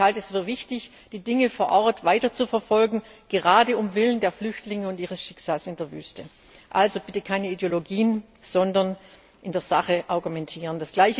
Aber ich halte es für wichtig, die Dinge vor Ort weiterzuverfolgen, gerade um der Flüchtlinge und ihres Schicksals in der Wüste willen. Also bitte keine Ideologien, sondern in der Sache argumentieren.